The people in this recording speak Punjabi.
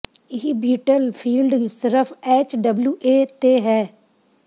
ਇਹ ਬੀਟਲ ਫੀਲਡ ਸਿਰਫ ਐਚ ਡਬਲਿਊ ਏ ਤੇ ਹੈ